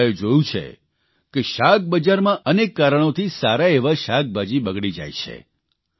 આપણે બધાએ જોયું છે કે શાકબજારમાં અનેક કારણોથી સારા એવા શાકભાજી બગડી જાય છે